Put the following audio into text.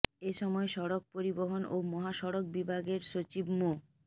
এ সময় সড়ক পরিবহন ও মহাসড়ক বিভাগের সচিব মো